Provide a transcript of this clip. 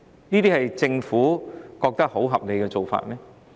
難道政府認為這是合理的做法嗎？